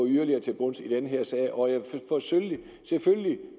yderligere til bunds i denne sag og hvor jeg selvfølgelig